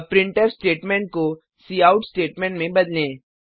अब printf statement cout statement को में बदलें